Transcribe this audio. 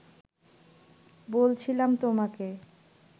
বলছিলাম তোমাকে